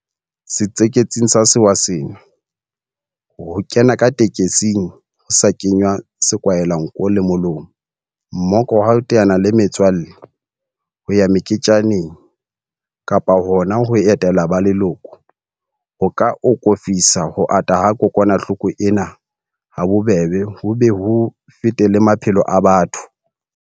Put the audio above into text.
Setsiketsing sa sewa sena, ho kena ka tekesing ho sa kenngwa sekwahelanko le molomo, mmoka wa ho teana le metswalle, ho ya meketjaneng kapa hona ho etela ba leloko, ho ka akofisa ho ata ha kokwanahloko ena habobebe ho be ho fete le maphelo a batho.